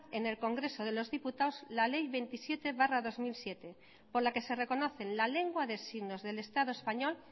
en el congreso de los diputados la ley veintisiete barra dos mil siete por la que se reconocen la lengua de signos del estado español